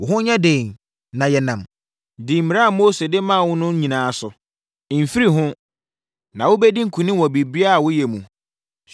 “Wo ho nyɛ den na yɛ nnam. Di mmara a Mose de maa wo no nyinaa so. Mfiri ho, na wobɛdi nkonim wɔ biribiara a woyɛ mu.